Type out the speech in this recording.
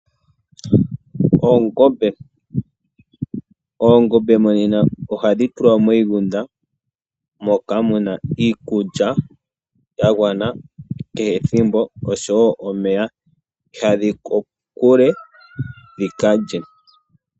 Oongombe, oongombe monena ohadhi tulwa moshigunda moka muna iikulya ya gwana kehe ethimbo osho wo omeya. Ihadhi yi kokule dhi kalye.